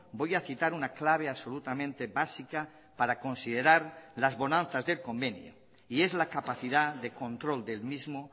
voy a citar una clave absolutamente básica para considerar las bonanzas del convenio y es la capacidad de control del mismo